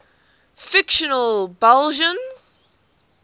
fictional belgians